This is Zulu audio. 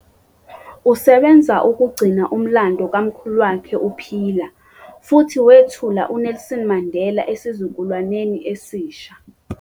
Usebenza ukugcina umlando kamkhulu wakhe uphila, futhi wethula uNelson Mandela esizukulwaneni esisha.